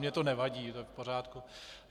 Mně to nevadí, to je v pořádku.